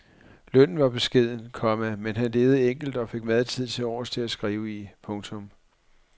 Lønnen var beskeden, komma men han levede enkelt og fik meget tid tilovers til at skrive i. punktum